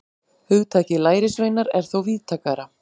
Hugtakið lærisveinar er þó víðtækara.